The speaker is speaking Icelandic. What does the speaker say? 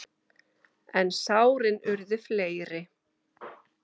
En sárin urðu fleiri.